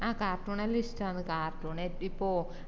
ആഹ് cartoon എല്ലോ ഇഷ്ട്ടാന്ന് cartoon ഇപ്പൊ